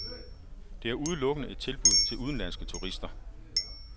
Det er udelukkende et tilbud til udenlandske turister.